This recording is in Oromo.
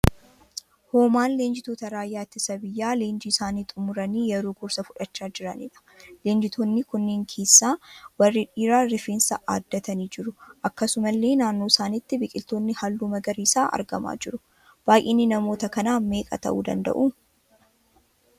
Hoomaan leenjitoota raayyaa ittisa biyyaa leenjii isaanii xumuranii yeroo gorsa fudhachaa jiraniidha. Leenjitoonni kunneen keessaa warri dhiiraa rifeensa aaddatanii jiru. Akkasumallee naannoo isaaniitti biqiloonni halluu magariisaa argamaa jiru. baayyinni namoota kanaa meeqa tahuu danda'u?